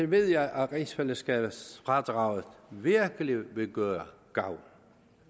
ved jeg at rigsfællesskabsfradraget virkelig vil gøre gavn